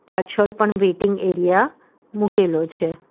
પાછળ પણ waiting area મુકેલો છે.